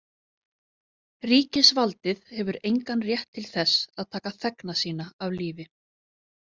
Ríkisvaldið hefur engan rétt til þess að taka þegna sína af lífi.